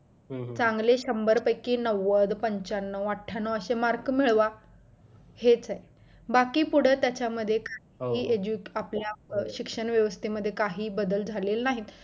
चांगले शंभर पैकी नव्वद पंचानऊ आठ्यान्नव असे मार्क मिळवा हेच आहे बाकी पुढं त्याच्यामध्ये काही आपल्या शिक्षण व्यवस्था मध्ये बदल झालेले नाहीत